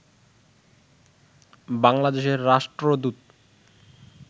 বাংলাদেশের রাষ্ট্রদূত